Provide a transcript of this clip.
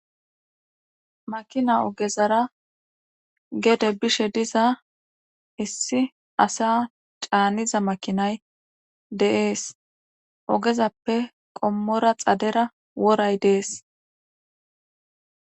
makina ogezara gede bishe diza issi asa caaniza makinay deees ogezappe qommora xadera woray dees